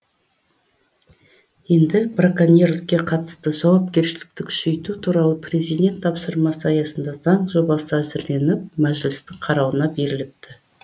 енді браконьерлікке қатысты жауапкершілікті күшейту туралы президент тапсырмасы аясында заң жобасы әзірленіп мәжілістің қарауына беріліпті